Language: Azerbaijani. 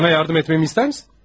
Sənə kömək etməyimi istəyirsən?